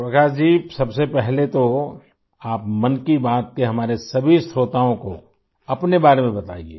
प्रकाश जी सबसे पहले तो आप मन की बात के हमारे सभी श्रोताओं को अपने बारे में बताइये